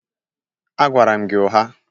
Agwara m gị ụgha